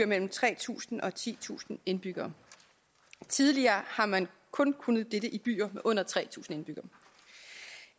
mellem tre tusind og titusind indbyggere tidligere har man kun kunnet dette i byer med under tre tusind indbyggere